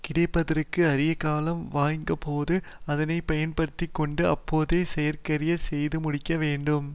கிடைப்பதற்கு அரிய காலம் வாய்ந்தபோது அதை பயன்படுத்தி கொண்டு அப்போதே செயற்கரிய செய்து முடிக்க வேண்டும்